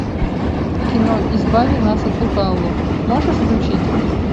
кино избави нас от лукавого можешь включить